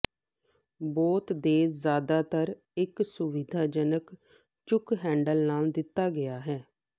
ਬੋਤ ਦੇ ਜ਼ਿਆਦਾਤਰ ਇੱਕ ਸੁਵਿਧਾਜਨਕ ਚੁੱਕ ਹੈਡਲ ਨਾਲ ਦਿੱਤਾ ਗਿਆ ਹੈ